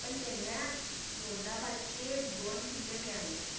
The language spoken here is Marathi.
पण त्यांना गोंदाबादचे दोन किल्ले मिळाले